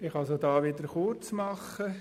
Ich kann es auch hier wieder kurz machen.